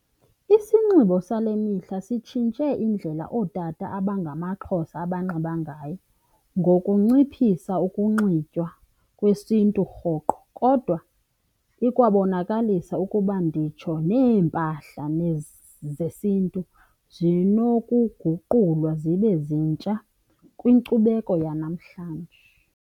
Isinxibo sale mihla sitshintshe indlela ootata abangamaXhosa abanxiba ngayo ngokunciphisa ukunxitywa kwesiNtu rhoqo, kodwa ikwabonakalisa ukuba nditsho neempahla zesiNtu zinokugulwa zibe zintsha kwinkcubeko yanamhlanje.